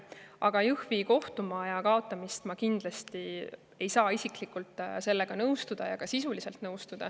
Aga Jõhvi kohtumaja ma isiklikult kindlasti ei saa nõustuda, ka sisulises mõttes.